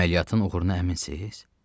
Əməliyyatın uğuruna əminsiz?